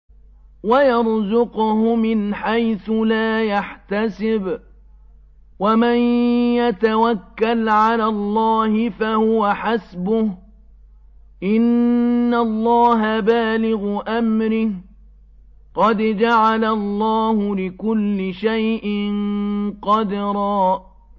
وَيَرْزُقْهُ مِنْ حَيْثُ لَا يَحْتَسِبُ ۚ وَمَن يَتَوَكَّلْ عَلَى اللَّهِ فَهُوَ حَسْبُهُ ۚ إِنَّ اللَّهَ بَالِغُ أَمْرِهِ ۚ قَدْ جَعَلَ اللَّهُ لِكُلِّ شَيْءٍ قَدْرًا